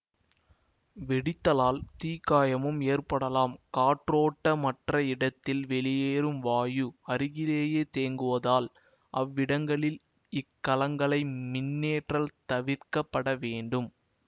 வெடித்தலால் தீக்காயமும் ஏற்படலாம் காற்றோட்டமற்ற இடத்தில் வெளியேறும் வாயு அருகிலேயே தேங்குவதால் அவ்விடங்களில் இக்கலங்களை மின்னேற்றல் தவிர்க்க பட வேண்டும்